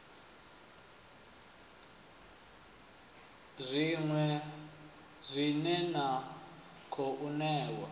idzi dzine na khou ṋewa